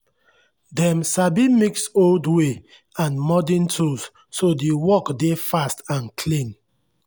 dem sabi mix old way and modern tools so the work dey fast and clean.